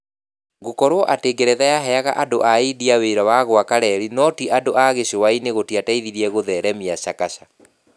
Gũkorũo atĩ ngeretha yaheaga andũ a India wĩra wa gũaka reri no tĩ andũ a gĩcũa-inĩ gũtiateithirie kũtheremia Chakacha.